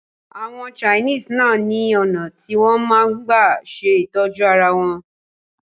Àwọn Chinese náà ni ọ̀nà tí wọn máa ń gbà ṣe ìtọ́jú arawọn